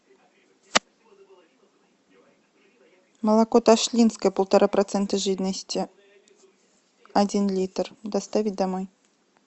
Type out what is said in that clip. молоко ташлинское полтора процента жирности один литр доставить домой